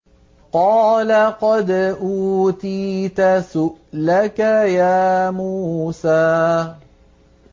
قَالَ قَدْ أُوتِيتَ سُؤْلَكَ يَا مُوسَىٰ